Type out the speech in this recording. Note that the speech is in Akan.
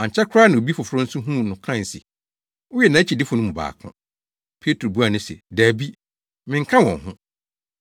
Ankyɛ koraa na obi foforo nso huu no kae se, “Woyɛ nʼakyidifo no mu baako.” Petro buaa no se, “Dabi, menka wɔn ho.”